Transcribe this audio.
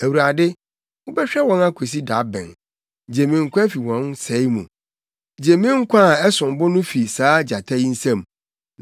Awurade, wobɛhwɛ wɔn akosi da bɛn? Gye me nkwa fi wɔn sɛe mu, gye me nkwa a ɛsom bo no fi saa gyata yi nsam.